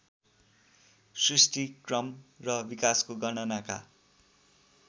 सृष्टिक्रम र विकासको गणनाका